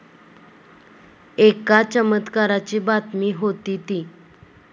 एका चमत्काराची बातमी होती ती.